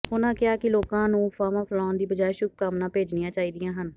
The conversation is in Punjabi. ਉਹਨਾਂ ਕਿਹਾ ਕਿ ਲੋਕਾਂ ਨੂੰ ਅਫਵਾਹਾਂ ਫੈਲਾਉਣ ਦੀ ਬਜਾਏ ਸ਼ੁਭ ਕਾਮਨਾਵਾਂ ਭੇਜਣੀਆਂ ਚਾਹੀਦੀਆਂ ਹਨ